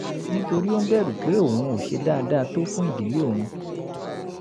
nítorí ó ń bẹ̀rù pé òun ò ṣe dáadáa tó fún ìdílé òun